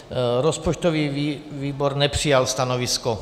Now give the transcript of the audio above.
Rozpočtový výbor nepřijal stanovisko.